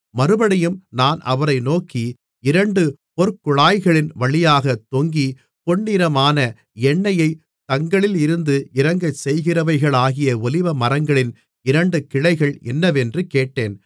மறுபடியும் நான் அவரை நோக்கி இரண்டு பொற்குழாய்களின் வழியாகத் தொங்கி பொன்னிறமான எண்ணெயைத் தங்களிலிருந்து இறங்கச்செய்கிறவைகளாகிய ஒலிவமரங்களின் இரண்டு கிளைகள் என்னவென்று கேட்டேன்